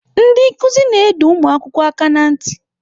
Ndị nkụzi na-adọ ụmụ akwụkwọ aka ná ntị.